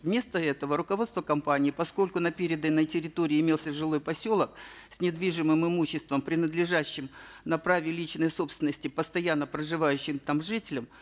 вместо этого руководство компании поскольку на переданной территории имелся жилой поселок с недвижимым имуществом принадлежащим на праве личной собственности постоянно проживающим там жителям